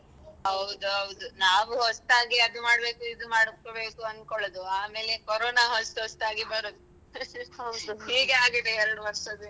ಹೌದು ನಾವು ಹೊಸ್ತಾಗಿ ಅದು ಮಾಡ್ಬೇಕು ಇದು ಮಾಡ್ಬೇಕು ಅನ್ಕೋಳುದು ಆಮೇಲೆ ಕೋರೋಣ ಹೊಸ್ತು ಹೊಸ್ತಾಗಿ ಬರುದು ಹೀಗೆ ಆಗಿದೆ ಎರಡು ವರ್ಷದಿಂದ.